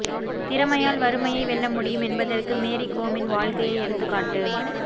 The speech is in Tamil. திறமையால் வறுமையை வெல்ல முடியும் என்பதற்கு மேரி கோமின் வாழ்க்கையே எடுத்துக்காட்டு